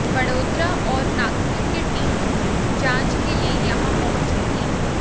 बड़ोदरा और नागपुर की टीम भी जांच के लिए यहां पहुंची थीं